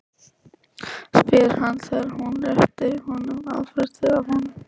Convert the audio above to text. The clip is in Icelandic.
spyr hann þegar hún réttir honum afritið af nótunni.